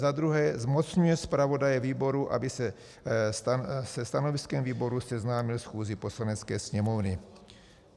za druhé zmocňuje zpravodaje výboru, aby se stanoviskem výboru seznámil schůzi Poslanecké sněmovny.